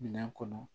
Minɛn kɔnɔ